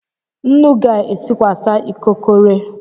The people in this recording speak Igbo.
Nnu ga-esikwasa ikokore?